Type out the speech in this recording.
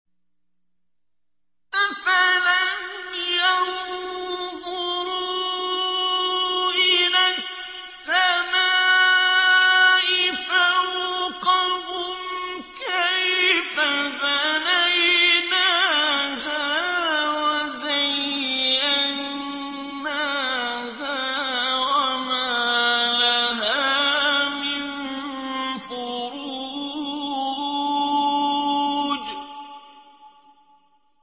أَفَلَمْ يَنظُرُوا إِلَى السَّمَاءِ فَوْقَهُمْ كَيْفَ بَنَيْنَاهَا وَزَيَّنَّاهَا وَمَا لَهَا مِن فُرُوجٍ